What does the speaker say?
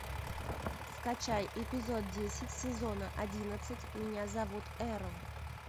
скачай эпизод десять сезона одиннадцать меня зовут эрл